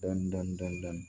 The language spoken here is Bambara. Dɔn